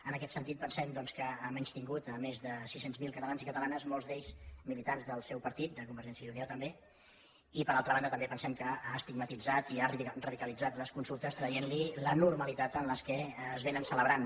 en aquest sentit pensem doncs que ha menystingut més de sis cents miler ca talans i catalanes molts d’ells militants del seu partit de convergència i unió també i per altra banda pensem també que ha estigmatitzat i ha radicalitzat les consultes traient los la normalitat amb què se celebren